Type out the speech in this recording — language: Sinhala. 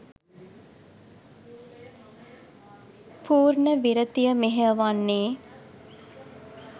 පූර්ණ විරතිය මෙහෙයවන්නේ